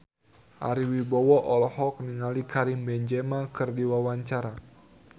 Ari Wibowo olohok ningali Karim Benzema keur diwawancara